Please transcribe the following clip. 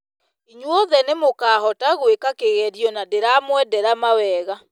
Inyuothe nĩmũkahota gwĩka kĩgerio na ndĩramwendera mawega.